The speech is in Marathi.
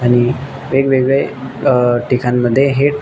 आणि वेगवेगळे अ ठिकाण मध्ये हे--